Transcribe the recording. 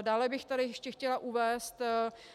Dále bych tady ještě chtěla uvést,